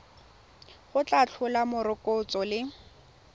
go tla tlhola morokotso le